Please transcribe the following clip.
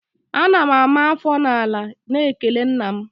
Ana m ama afọ n'ala n'ikele nna m